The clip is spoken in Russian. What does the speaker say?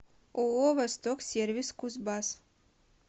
ооо восток сервис кузбасс